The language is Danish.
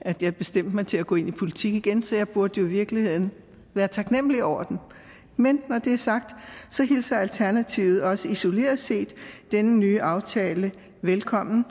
at jeg bestemte mig til at gå ind i politik igen så jeg burde jo i virkeligheden være taknemlig over den men når det er sagt hilser alternativet også isoleret set denne nye aftale velkommen